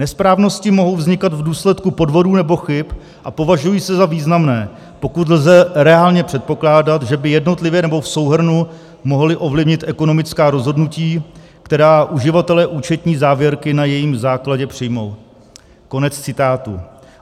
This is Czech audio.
Nesprávnosti mohou vznikat v důsledku podvodů nebo chyb a považují se za významné, pokud lze reálně předpokládat, že by jednotlivě nebo v souhrnu mohly ovlivnit ekonomická rozhodnutí, která uživatelé účetní závěrky na jejím základě přijmou." Konec citátu.